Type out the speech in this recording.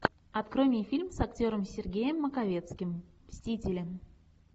открой мне фильм с актером сергеем маковецким мстители